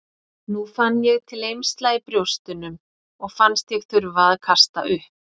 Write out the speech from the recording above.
Nú fann ég til eymsla í brjóstunum og fannst ég þurfa að kasta upp.